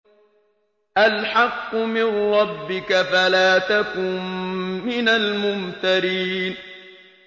الْحَقُّ مِن رَّبِّكَ فَلَا تَكُن مِّنَ الْمُمْتَرِينَ